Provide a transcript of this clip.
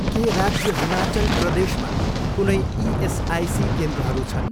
के राज्य हिमाचल प्रदेशमा कुनै इएसआइसी केन्द्रहरू छन्?